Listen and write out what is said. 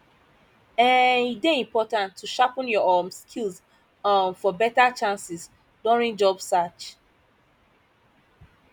um e dey important to sharpen your um skills um for better chances during job search